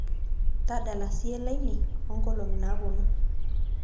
tadala siye lainei onkolongi naponu